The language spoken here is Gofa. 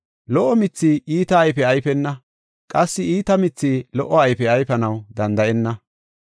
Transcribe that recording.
Lo77o mithi iita ayfe ayfena, qassi iita mithi lo77o ayfe ayfanaw danda7enna.